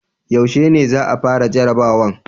Yaushe ne za a fara jarabawan?